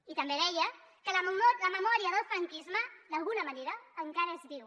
i també deia que la memòria del franquisme d’alguna manera encara es viu